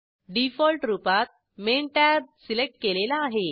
default रूपात main tab select केलेला आहे